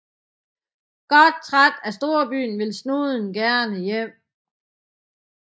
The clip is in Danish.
Godt træt af storbyen vil Snuden gerne hjem